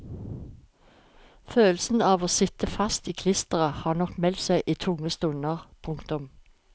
Følelsen av å sitte fast i klisteret har nok meldt seg i tunge stunder. punktum